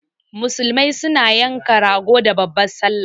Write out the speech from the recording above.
Musulmai su na yanka rago da babban sallah